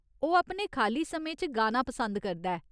ओह् अपने खाल्ली समें च गाना पसंद करदा ऐ।